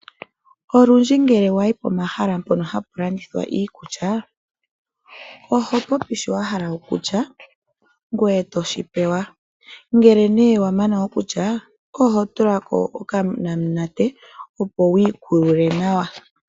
Olundji ngele wayi pomahala mpono hapu landithwa iikulya, ohopopi shoka wahala okulya, ngoye toshi pewa. Uuna nduno wamana okulya, oho nu okanamunate opo wiikulule nawa.